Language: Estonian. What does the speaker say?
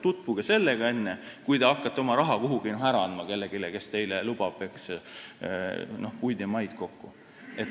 Tutvuge sellega, enne kui te hakkate oma raha kuhugi ära andma kellelegi, kes lubab teile puid ja maid kokku.